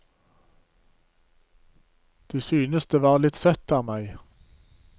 De syntes det var litt søtt av meg.